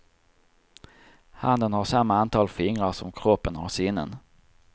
Handen har samma antal fingrar som kroppen har sinnen.